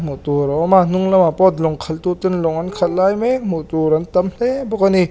hmuh tur a awm a hnung lamah pawh duang khalh tu ten lawng an khalh lai mek hmuh tur awm tam hle a ni.